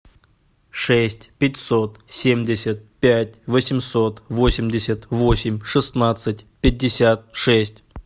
шесть пятьсот семьдесят пять восемьсот восемьдесят восемь шестнадцать пятьдесят шесть